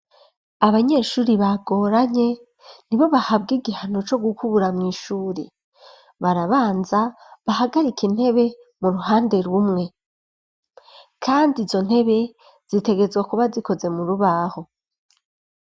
Abanyeshuri bagoranye ni bo bahabwa igihano co gukubura mw'ishuri, barabanza bahagarike intebe mu ruhande rumwe, kandi izo ntebe zitegerezwa kuba zikoze mu rubaho.